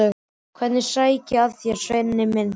Hvernig sæki ég að þér, Svenni minn?